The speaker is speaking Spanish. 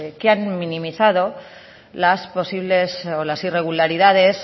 que han minimizado las posibles o las irregularidades